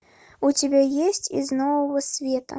у тебя есть из нового света